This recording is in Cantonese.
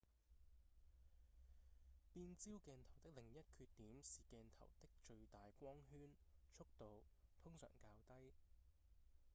變焦鏡頭的另一缺點是鏡頭的最大光圈速度通常較低